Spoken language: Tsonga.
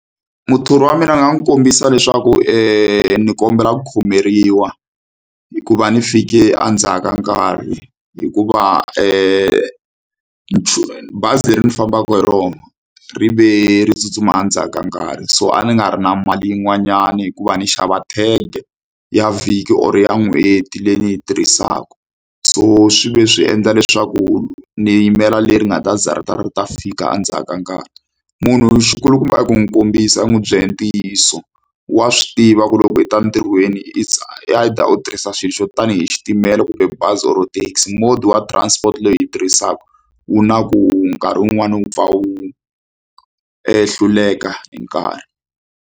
Muthori wa mina ni nga n'wi kombisa leswaku ni kombela ku khomeriwa hikuva ndzi fike endzhaku ka nkarhi hikuva bazi leri ndzi fambaka hi rona rive ri tsutsuma endzhaku ka nkarhi so a ni nga ri na mali yin'wanyani hikuva ni xava tag-e ya vhiki or ya n'hweti leyi ni yi tirhisaka so swi ve swi endla leswaku ni yimela leri nga ta za ri ta ri ta fika endzhaku ka nkarhi munhu xi kulukumba i ku n'wi kombisa u n'wi byela hi ntiyiso wa swi tiva ku loko u ta entirhweni it's either u tirhisa xilo xo tanihi xitimela kumbe bazi or taxi mode wa transport leyi hi yi tirhisaka wu na ku nkarhi wun'wani wu pfa wu e hluleka hi nkarhi.